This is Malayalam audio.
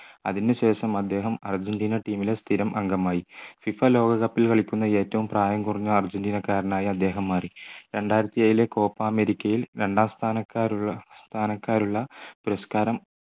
അതിനുശേഷം അദ്ദേഹം അർജൻറീന team ലെ സ്ഥിരം അംഗമായി FIFA ലോക cup ൽ കളിക്കുന്ന ഏറ്റവും പ്രായം കുറഞ്ഞ അർജൻറീന കാരനായ അദ്ദേഹം മാറി രണ്ടായിരത്തി ഏഴിലെ copa അമേരിക്കയിൽ രണ്ടാം സ്ഥാനക്കാരുള്ള പുരസ്കാരം